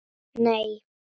Nei